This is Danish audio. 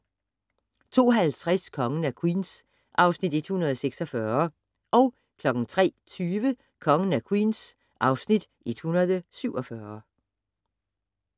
02:50: Kongen af Queens (Afs. 146) 03:20: Kongen af Queens (Afs. 147)